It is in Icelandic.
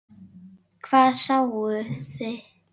Hvað sáuði?